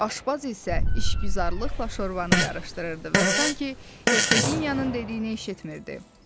Aşbaz isə işgüzarlıqla şorvanı qarışdırırdı və sanki Hersogenyanın dediyinə işitmirdi.